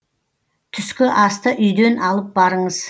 түскі асты үйден алып барыңыз